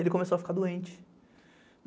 Ele começou a ficar doente.